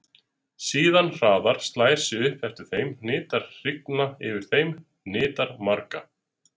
Síðan hraðar, slær sig upp eftir þeim, hnitar hringa yfir þeim, hnitar marga.